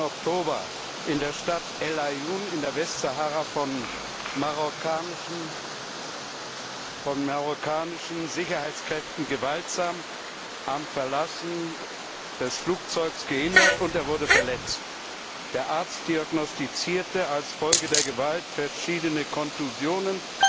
30. Oktober in der Stadt El Aaiún in der Westsahara von marokkanischen Sicherheitskräften gewaltsam am Verlassen des Flugzeugs gehindert und verletzt. Der Arzt diagnostizierte als Folge der Gewalt verschiedene Kontusionen,